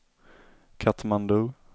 Katmandu